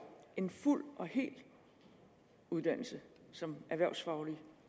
en fuld og hel uddannelse som erhvervsfagligt